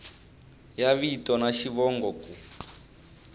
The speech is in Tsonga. ya vito na xivongo ku